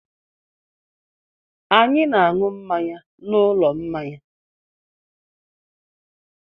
Anyị na-aṅụ mmanya n'ụlọ mmanya.